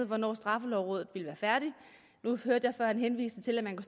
hvornår straffelovrådet ville være færdig nu hørte jeg før en henvisning til at man